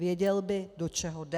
Věděl by, do čeho jde.